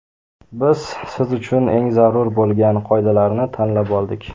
Biz siz uchun eng zarur bo‘lgan qoidalarni tanlab oldik.